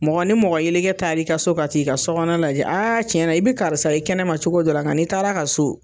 Mɔgɔ ni mɔgɔ yeleke taar'i ka so ka t'i ka sokɔnɔ lajɛ tiɲɛna i bɛ karisa ye kɛnɛma cogo dɔ la nga n'i taar'a ka so